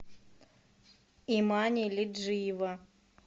имани лиджиева